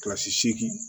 Kilasi seegin